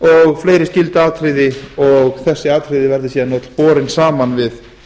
og fleiri skyld atriði og þessi atriði yrðu síðan borin saman við